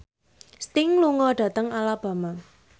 Sting lunga dhateng Alabama